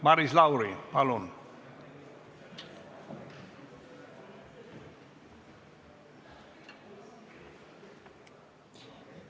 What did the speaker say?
Maris Lauri, palun!